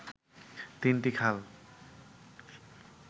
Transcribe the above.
তিনটি খাল